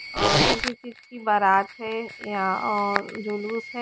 अ किसी चीज़ की बारात है या अ जुलूस है।